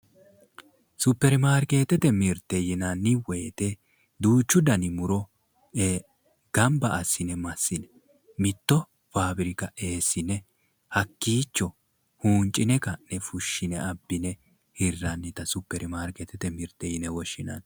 Suppermaarkeetete mirteeti yinanni woyte duuchu dani muro gamba assi'ne massi'ne mittowa faabirika eessine hakkiicho huunci'ne ka'ne fushshine abbine hirrannita suppermaarkeetete mirteeti yine woshshinanni.